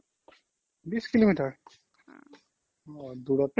বিশ কিলোমিটাৰ দূৰত